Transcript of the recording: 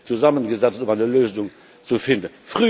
zusammengesetzt, um eine Lösung zu finden.